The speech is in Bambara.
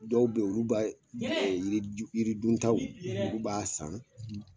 Dɔw be ye olu ba yiri ju yiri duntaw olu b'a san